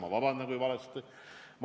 Ma vabandan, kui sain valesti aru!